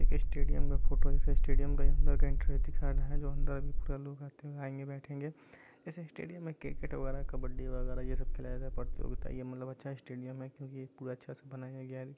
Stadium का photo है इस स्टेडियम के अंदर का एंट्री दिखा रहा है जो अंदर अभी पूरा लोग आते हुए आएंगे बैठेंगे इस स्टेडियम में क्रिकेट वगैरह कबड्डी वगैरह ये सब खेला जाता है प्रतियोगिता ये मतलब अच्छा स्टेडियम है क्यूंकि ये पूरा अच्छे से बनाया गया है।